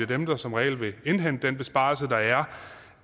dem der som regel vil indhente den besparelse der